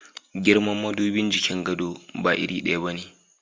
Girman madubin jikin gado ba iri daya ba ne.